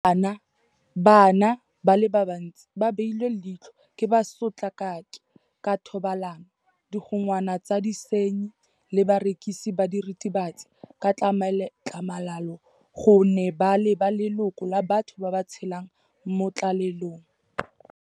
Bana ba le bantsi ba beilwe leitlho ke basotlakaki ka thobalano, digongwana tsa disenyi le barekisi ba diritibatsi ka tlhamalalo gonne ba leba le loko la batho ba ba tshelang mo tlalelong.